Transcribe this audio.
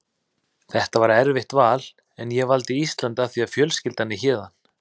Þetta var erfitt val en ég valdi Ísland af því að fjölskyldan er héðan.